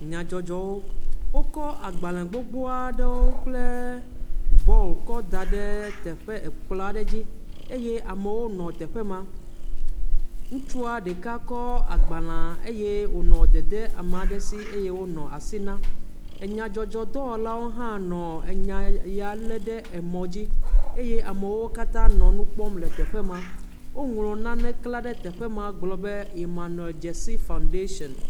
Nyadzɔdzɔwo. Wokɔ agbalẽ gbogbo aɖewo kple bɔɔl kɔ da ɖe teƒe ekplɔ̃ aɖe dzi. Eye amewo nɔ teƒe ma. Ŋutsu ɖeka kɔ agbalẽa eye wònɔ dede ame aɖe si eye wonɔ asi na. Enyadzɔdzɔdɔwɔlawo hã nɔ enya ya lé ɖe emɔ dzi. eye amewo katã nɔnu kpɔm le teƒe ma. Woŋlɔ nane klã ɖe teƒe ma gblɔ be “Emmanuel Dzesi foundation”